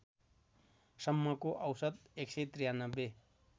सम्मको औसत १९३